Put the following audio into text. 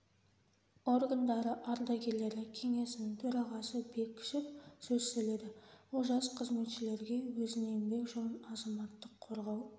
органдары ардагерлері кеңесінің төрағасы бекішев сөз сөйледі ол жас қызметшілерге өзінің еңбек жолын азаматтық қорғау